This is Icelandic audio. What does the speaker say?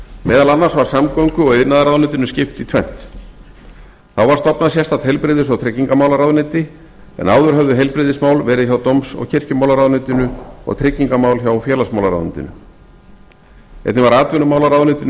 meðal annars var samgöngu og iðnaðarráðuneytinu skipt í tvennt þá var stofnað sérstakt heilbrigðis og tryggingamálaráðuneyti en áður höfðu heilbrigðismál verið hjá dóms og kirkjumálaráðuneytinu og tryggingamál hjá félagsmálaráðuneytinu einnig var atvinnumálaráðuneytinu skipt